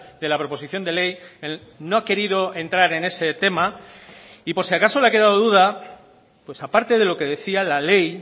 de la proposición de ley no ha querido entrar en ese tema y por si acaso le ha quedado duda pues aparte de lo que decía la ley